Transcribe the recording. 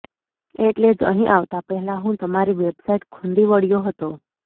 એટલે જ અહીં આવતા પહેલાં હું તમારી વેબસાઈટ ખૂંદી વળ્યો હતો